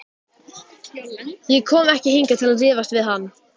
Ég kom ekki hingað til að rífast við hann.